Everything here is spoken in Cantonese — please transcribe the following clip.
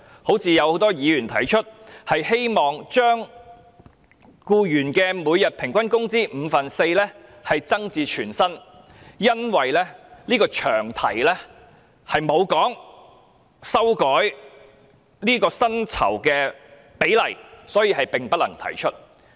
很多議員提出，希望將僱員侍產假的每日工資由五分之四增至全薪，但都因為這個詳題並無提到修改薪酬的比例，所以並不能提出。